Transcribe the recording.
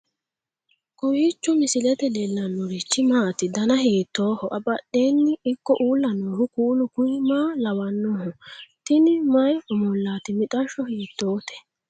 kowiicho misilete leellanorichi maati ? dana hiittooho ?abadhhenni ikko uulla noohu kuulu kuni maa lawannoho? tini mayi omollaati mixashsho hiittoote